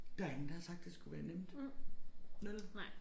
Der ingen der har sagt det skulle være nemt vel?